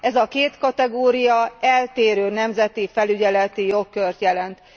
Ez a két kategória eltérő nemzeti felügyeleti jogkört jelent.